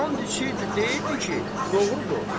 And içirdi, deyirdi ki, doğrudur.